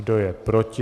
Kdo je proti?